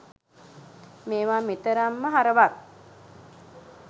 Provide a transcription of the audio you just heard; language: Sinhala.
මේවා මෙතරම්ම හරවත්